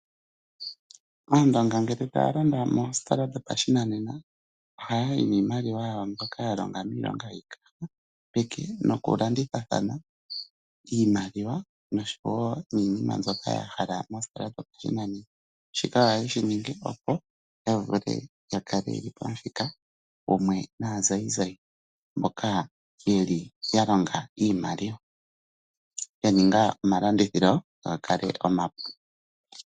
Aandonga ngele ta ya landa moositola dhopa shinanena, oha ya yi niimaliwa yawo mbyoka ya longa miilonga yiikaha peke, noku landithathana niimaliwa noshinima shoka ya hala mo mostola dho pa shinanena. Shika oha ye shi ningi opo ya vule ya kale pamuthika gumwe naazayizayi mboka ye li ya longa iimaliwa, ya ninga omalandithilo ga kale omapu.